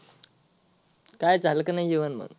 काय झाल का नाही जेवण मग.